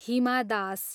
Hima Das